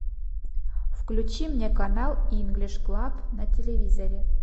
включи мне канал инглиш клаб на телевизоре